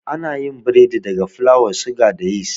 Anayin biredi daga fulawa, suga, da yis